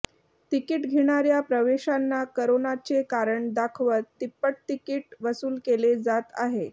ticket घेणाऱ्या प्रवाशांना करोनाचे कारण दाखवत तिप्पट तिकीट वसूल केले जात आहे